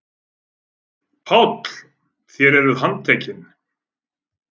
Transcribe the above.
PÁLL: Þér eruð handtekin.